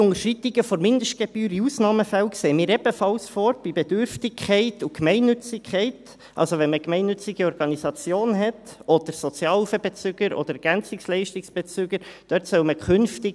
Bei Bedürftigkeit und Gemeinnützigkeit sehen wir in Ausnahmenfällen ebenfalls punktuelle Unterschreitungen der Mindestgebühr vor, also dann, wenn man es mit gemeinnützigen Organisationen, Sozialhilfebezügern oder Ergänzungsleistungsbezügern zu tun hat.